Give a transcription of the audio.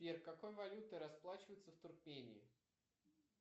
сбер какой валютой расплачиваются в туркмении